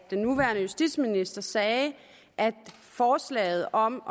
den nuværende justitsminister sagde at forslaget om